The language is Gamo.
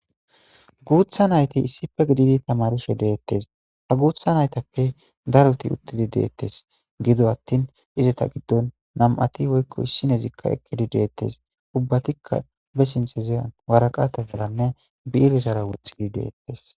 Guutha nayti issife gididi tamaruse deettes ha guutha naytappe daruti uttidi deettes gido attin izeta giddon nam'ati woykko issinezikka ekkidi deettes ubbatikka be sinteziyan waraqata baranne bi'ilesara woxxidi deettes.